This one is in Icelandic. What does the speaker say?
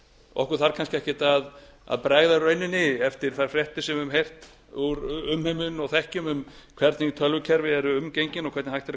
okkur þarf kannski ekkert að bregða í rauninni eftir þær fréttir sem við höfum heyrt úr umheiminum og þekkjum um hvernig tölvukerfi eru umgengin og hvernig hægt er að